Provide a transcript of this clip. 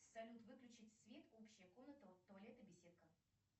салют выключить свет общая комната туалет и беседка